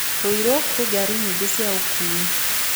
Ruiru kwĩ ngari nyingĩ cia ũkuui.